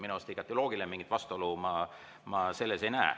Minu arust on see igati loogiline, mingit vastuolu ma selles ei näe.